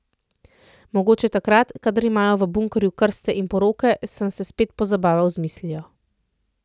Mogoče takrat, kadar imajo v bunkerju krste in poroke, sem se spet pozabaval z mislijo.